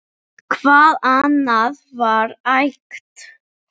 Hvað annað var hægt?